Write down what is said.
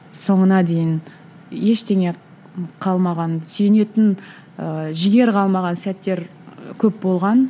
соңына дейін ештеңе қалмаған сүйенетін ы жігер қалмаған сәттер көп болған